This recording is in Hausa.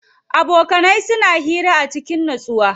Abokanai suna hira a cikin nutsuwa.